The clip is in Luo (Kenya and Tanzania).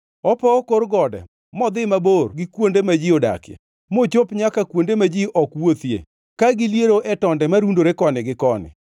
Opowo kor gode modhi mabor gi kuonde ma ji odakie, mochop nyaka kuonde ma ji ok wuothie; ka giliero e tonde marundore koni gi koni.